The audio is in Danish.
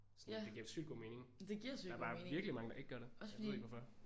Sådan det giver jo sygt god mening der er bare virkelig mange der ikke gør det jeg ved ikke hvorfor